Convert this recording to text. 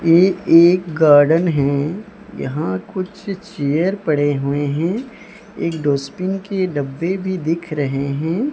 ये एक एक गार्डन है यहां कुछ चेयर पड़े हुए हैं एक डस्टबिन के डब्बे भी दिख रहे हैं।